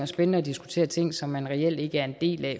spændende at diskutere ting som man reelt ikke er en del af